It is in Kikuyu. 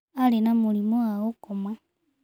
Arĩ na mũrimũ wa gũkoma.